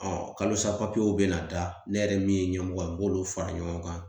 kalosa bɛ na da ne yɛrɛ min ye ɲɛmɔgɔ ye n b'olu fara ɲɔgɔn kan